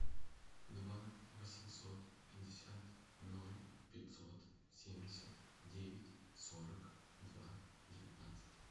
два восемьсот пятьдесят ноль пятьсот семьдесят девять сорок два девятнадцать